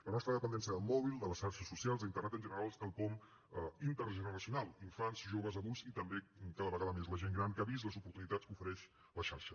la nostra dependència del mòbil de les xarxes socials d’internet en general és quelcom intergeneracional infants joves adults i també cada vegada més la gent gran que ha vist les oportunitats que ofereix la xarxa